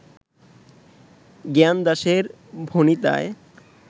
জ্ঞানদাসের ভণিতায়